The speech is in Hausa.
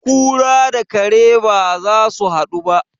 kura da kare ba za su hadu ba